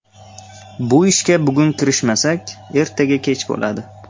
Bu ishga bugun kirishmasak, ertaga kech bo‘ladi.